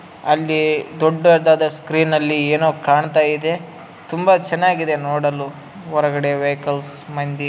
ಅಲ್ಲಿ ದೊಡ್ಡದಾದ ಸ್ಕ್ರೀನ್‌ ನಲ್ಲಿ ಏನೋ ಕಾಣ್ತಾ ಇದೆ. ತುಂಬಾ ಚೆನ್ನಾಗಿದೆ ನೋಡಲು ಹೊರಗಡೆ ವಹಿಕಲ್ಸ್‌ ಮಂದಿ--